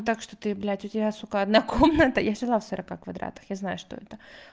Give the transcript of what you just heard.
так что ты блядь у тебя сука одна комната я жила в сорока квадратах я знаю что это